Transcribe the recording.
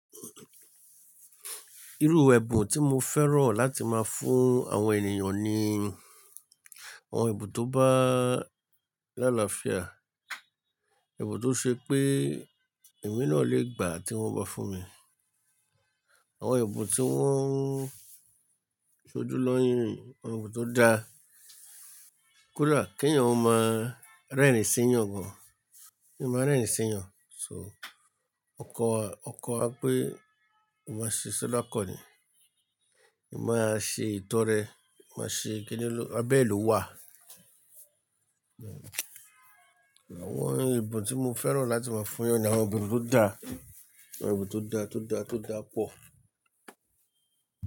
Irú ẹ̀bùn tí mo fẹ́ràn láti máa fún àwọn ènìyàn ni ẹ̀bùn tó bá lálà fia, ẹ̀bùn tó ṣe pé èmi náà lè gbà tí wọ́n bá fún mi. Àwọn ẹ̀bùn tí wọ́n sojúlọ́yin, ẹ̀bùn tó da. Kódà kí ẹ̀yàn máa rẹ́rìn sí ẹ̀yàn gan. So ọkọ a, ọkọ a pé máa ṣe sọ dá kọ́ ni, kí a máa ṣe ìtọ́rẹ, má ṣe kíni ló, abẹ ló wà. Àwọn ẹ̀bùn tí mo fẹ́ràn láti máa fún ni àwọn ẹ̀bùn tó da, àwọn ẹ̀bùn tó da, tó da, tó da pọ̀.